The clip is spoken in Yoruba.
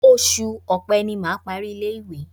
Oṣù Ọ̀pe ni mà á parí ilé-ìwé.